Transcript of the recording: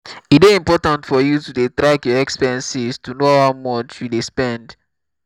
e dey important for you to dey track your expenses to to know how much you dey spend